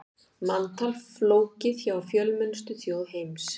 Manntal flókið hjá fjölmennustu þjóð heims